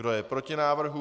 Kdo je proti návrhu?